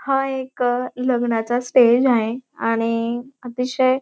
हा एक लग्नाचा स्टेज आहे आणि अतिशय --